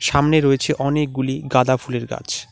সামনে রয়েছে অনেকগুলি গাঁদা ফুলের গাছ।